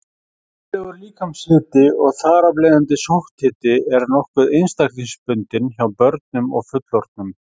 Eðlilegur líkamshiti, og þar af leiðandi sótthiti, er nokkuð einstaklingsbundinn hjá börnum og fullorðnum.